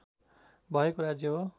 भएको राज्य हो